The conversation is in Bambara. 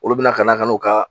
Olu bɛna kana kan'u kaa